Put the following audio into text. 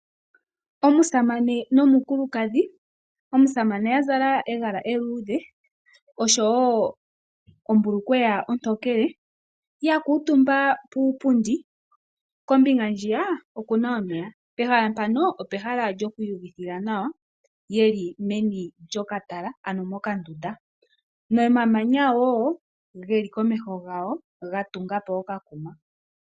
Omusamane nomukulukadhi. Omusamane okwa zala egala eludhe, oshowo ombulukweya ontokele oya kutumba puupundi noko mbinga ndjiya okuna omeya. Pehala mpano opehala lyoku iyu vithila nawa oyeli meni lyoka tala ano meni lyoka ndunda nomamanya wo geli komeho yawo ga tungapo okandundu.